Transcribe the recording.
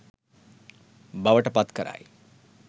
බවට පත් කරයි.